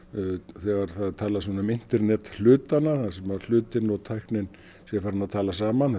þegar það er talað um internet hlutanna þar sem hlutir og tæknin tala saman